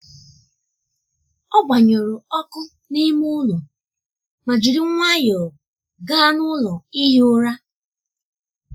ọ gbanyụrụ um ọkụ n’ime ụlọ ma jiri nwayọọ gaa n’ụlọ ihi ụra.